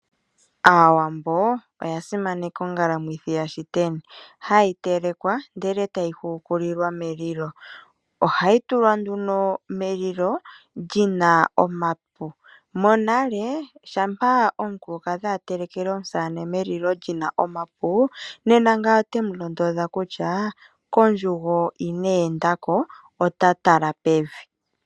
Aawambo oya simaneka ongalamwithi yashiteni hayi telekwa ndele eta yi hukulilwa melilo. Ohayi tulwa nduno melilo lina omapi. Monale shampa omukulukadhi a telekele omusamane melilo lina omapi nena ngawo ote mu londodha kutya kondjugo ineenda ko ota tala pevi.(ano e li keshito lyoomeme).